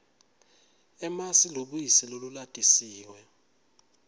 emasi lubisi lolulatisiwe